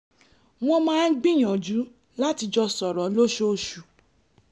wọ́n máa ń gbìyànjú láti jọ sọ̀rọ̀ lóṣooṣù